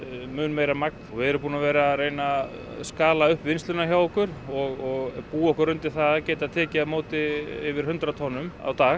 mun meira magn og við erum búnir að vera að skala upp vinnsluna hjá okkur og búa okkur undir það að geta tekið á móti yfir hundrað tonnum á dag